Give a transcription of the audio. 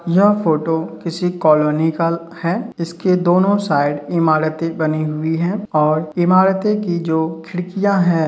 यह फोटो किसी कॉलोनी काल है। इसके दोनों साइड इमारतें बनी हुई हैं और इमारतें की जो खिड़कियां हैं --